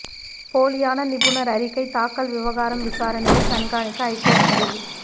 போலியான நிபுணர் அறிக்கை தாக்கல் விவகாரம் விசாரணையை கண்காணிக்க ஐகோர்ட் முடிவு